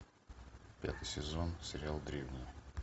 пятый сезон сериал древние